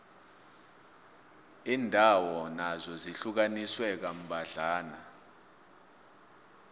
iindawo nazo zihlukaniswe kambadlwana